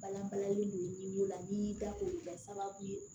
Balan balanlen do la n'i y'i da ko kɛ sababu ye